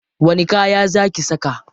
Wani kaya za ki saka?